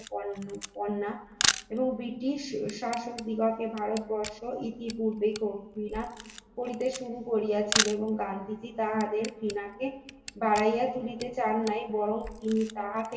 British র শাসক দিগকে ভারতবর্ষে ইতিপূর্বে মহিলা করিতে শুরু করিয়াছিল এবং গান্ধীজি তাহাদের সীমাকে ভাইয়ের হাতে দিতে চান নাই বরং তিনি তাহাকে